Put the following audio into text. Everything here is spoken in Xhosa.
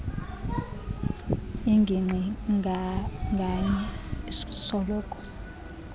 ingingqi nganye isoloko